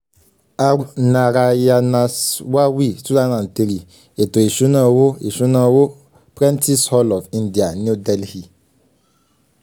r narayanaswamy two thousand and three “ètò ìṣúná owó” ìṣúná owó” prentice hall of india new delhi